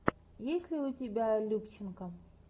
есть ли у тебя любченко